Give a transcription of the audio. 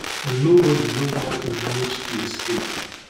and nobody know how e manage to escape